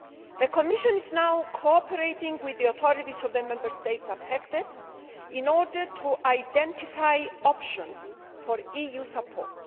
The Commission is now cooperating with the authorities of the Member States affected in order to identify options for EU support.